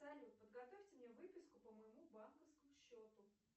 салют подготовьте мне выписку по моему банковскому счету